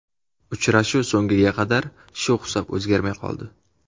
Uchrashuv so‘nggiga qadar shu hisob o‘zgarmay qoldi.